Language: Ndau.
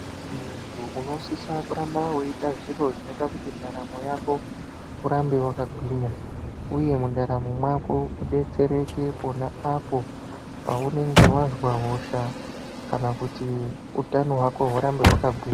Muntu unosisa kuramba weiita zviro zvinoita kuti mundandaramo yako urambe wakagwinya. Uye mundaramo mwako udetsereke pona apo paunenge wazwa hosha kana kuti utano hwako hurambe hwakagwinya.